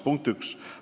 See on punkt üks.